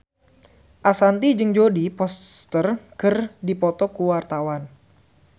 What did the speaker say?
Ashanti jeung Jodie Foster keur dipoto ku wartawan